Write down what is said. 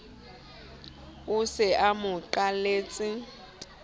o se a mo qalletse